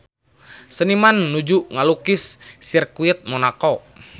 Seniman nuju ngalukis Sirkuit Monaco